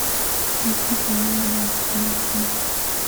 включи паола музыка любви